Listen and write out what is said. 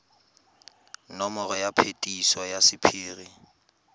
nomoro ya phetiso ya sephiri